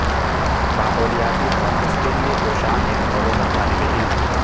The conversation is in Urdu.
ماحولیاتی تحفظ کے لئے کوشاں ایک نو عمر طلب علم